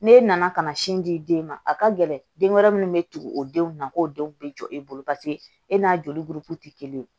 Ne nana ka na sin di den ma a ka gɛlɛn den wɛrɛ minnu bɛ tugu o denw na k'o denw bɛ jɔ e bolo paseke e n'a joli buruku tɛ kelen ye